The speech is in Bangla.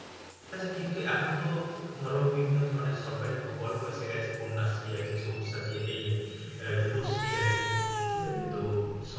কিছু এখন তো ধরো বিভিন্ন ধরণের সরকারি প্রকল্প এসে গেছে। কন্যাশ্রী আছে, সবুজ সাথী এই রূপশ্রী আছে ঠিকাছে? তো